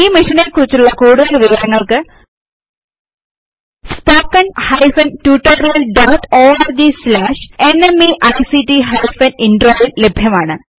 ഈ മിഷനെ കുറിച്ചുള്ള കൂടുതല് വിവരങ്ങൾക്ക് spoken hyphen tutorial dot org slash ന്മെയ്ക്ട് ഹൈഫൻ ഇൻട്രോ യിൽ ലഭ്യമാണ്